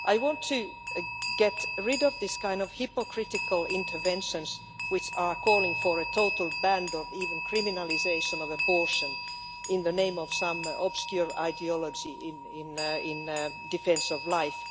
I want to get rid of these kinds of hypocritical interventions which are calling for a total ban or even criminalisation of abortion in the name of some obscure ideology in defence of life.